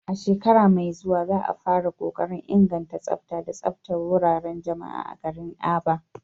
A shekara mai zuwa za a fara kokarin inganta tsafta da tsaftar wuraren jama'a a garin Aba.